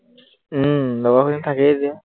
উম লগৰখিনি থাকেই যে